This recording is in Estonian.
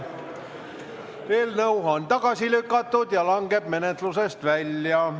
Eelnõu on tagasi lükatud ja langeb menetlusest välja.